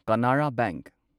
Canara bank